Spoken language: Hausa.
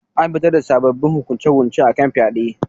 An fitar da sabbabin hukunce-hukunce akan fyade